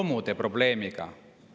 Romude probleemiga.